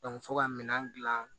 fo ka minɛn dilan